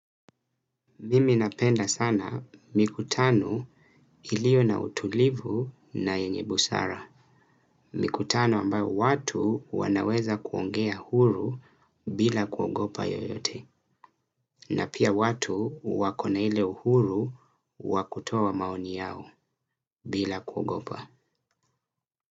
Mimi napenda sana mikutano iliyo na utulivu na yenye busara. Mikutano ambayo watu wanaweza kuongea huru bila kuogopa yoyote. Na pia watu wakona ile uhuru wakutoa maoni yao bila kuogopa.